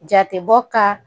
Jatebɔ kan